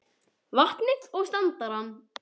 vatnið og standarann.